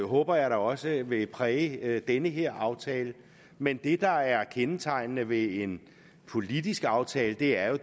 håber jeg da også vil præge den her aftale men det der er kendetegnende ved en politisk aftale er jo